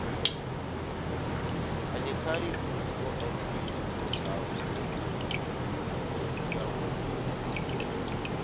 I dey carry food go elderly people’s house every week, na volunteer work e be